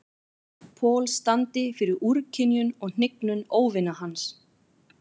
Paul standi fyrir úrkynjun og hnignun óvina hans.